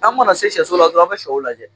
An mana se sɛso la dɔrɔn an bɛ sɛw lajɛ